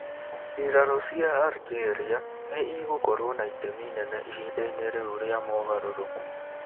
Mbiraru cia Algeria nĩ igũkorũo na itemi inene ihinda-inĩ rĩu rĩa mogarũrũku.